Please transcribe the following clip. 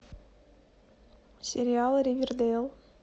сериал ривердейл